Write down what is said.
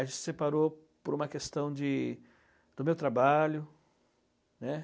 A gente se separou por uma questão de... do meu trabalho, né?